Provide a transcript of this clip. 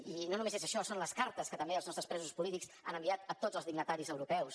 i no només és això són les cartes que també els nostres presos polítics han enviat a tots els dignataris europeus